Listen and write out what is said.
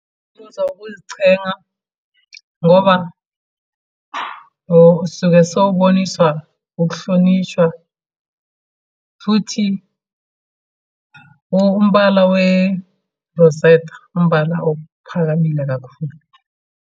Umuzwa wokuzichenga, ngoba sisuke siyoboniswa ukuhlonishwa, futhi umbala werozetha umbala ophakamile kakhulu.